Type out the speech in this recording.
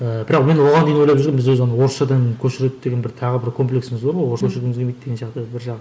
ыыы бірақ мен оған дейін ойлап жүргенмін біз өзі ана орысшадан көшіреді деген бір тағы бір комплексіміз бар ғой келмейді деген сияқты бір жағы